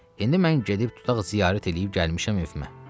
İndi mən gedib tutaq ziyarət eləyib gəlmişəm evimə.